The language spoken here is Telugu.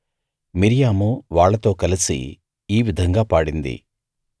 మిర్యాము వాళ్ళతో కలిసి ఈ విధంగా పాడింది